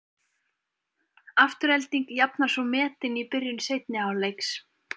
Afturelding jafnar svo metin í byrjun seinni hálfleiks.